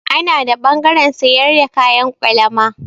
Ana da ɓangaren sayar da kayan kwalama.